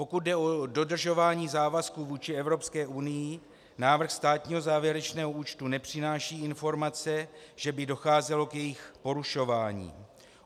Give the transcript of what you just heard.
Pokud jde o dodržování závazků vůči Evropské unii, návrh státního závěrečného účtu nepřináší informace, že by docházelo k jejich porušování.